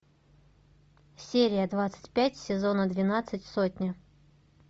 серия двадцать пять сезона двенадцать сотня